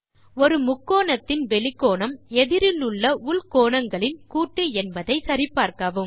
ஒரு முக்கோணத்தின் வெளிக் கோணம் எதிரிலுள்ள உள் கோணங்களின் கூட்டு என்பதை சரி பார்க்கவும்